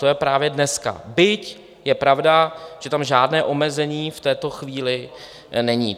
To je právě dneska, byť je pravda, že tam žádné omezení v této chvíli není.